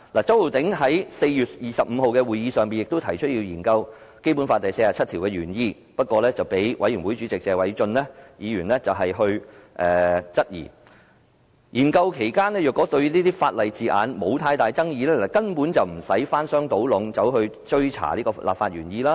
周浩鼎議員在4月25日會議上，也提出要研究《基本法》第四十七條原意，但被專責委員會主席謝偉俊議員質疑，因為研究期間若對法例字眼沒有太大爭議，根本無須翻箱倒篋追查立法原意。